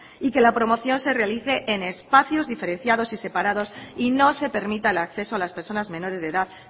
y que la promoción se realice en espacios diferenciados y separados y no se permita el acceso a las personas menores de edad